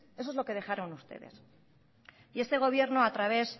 eso es lo que dejaron ustedes y este gobierno a través